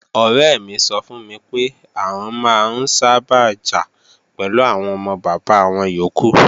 Ọ̀rẹ́ mi sọ fún mi pé, àwọn máa ń sábà jà pẹ̀lú àwọn ọmọ bàbá wọn yókù